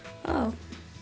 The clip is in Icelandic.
ó